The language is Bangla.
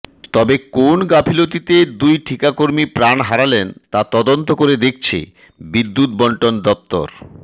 তবে কোন গাফিলতিতে দুই ঠিকাকর্মী প্রাণ হারালেন তা তদন্ত করে দেখছে বিদ্যুৎবণ্টন দফতর